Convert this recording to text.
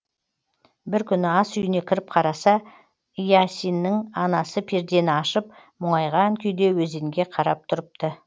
бір күні ас үйіне кіріп қараса иасиннің анасы пердені ашып мұңайған күйде өзенге қарап тұрыпты